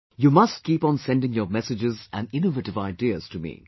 You must keep on sending your messages and innovative ideas to me